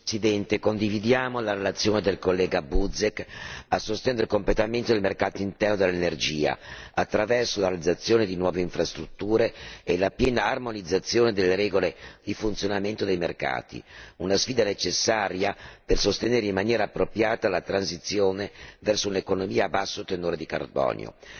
Signor Presidente, condividiamo la relazione del collega Buzek a sostegno del completamento del mercato interno dell'energia attraverso la realizzazione di nuove infrastrutture e la piena armonizzazione delle regole di funzionamento dei mercati, una sfida necessaria per sostenere in maniera appropriata la transizione verso un'economia a basso tenore di carbonio.